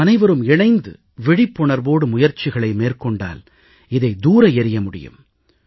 நாமனைவரும் இணைந்து விழிப்புணர்வோடு முயற்சிகளை மேற்கொண்டால் இதை தூர எறிய முடியும்